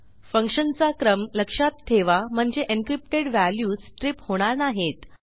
फंक्शनचा क्रम लक्षात ठेवा म्हणजे एन्क्रिप्टेड व्हॅल्यू stripहोणार नाहीत